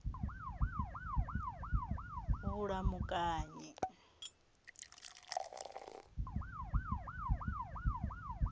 vhulamukanyi